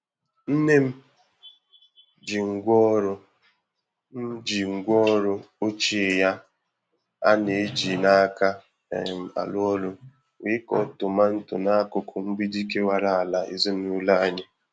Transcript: Nne m ji ngwaọrụ m ji ngwaọrụ ochie ya a na-eji n'aka um arụ ọrụ wee kọọ tomanto n'akụkụ mgbidi kewara ala ezinụlọ anyị.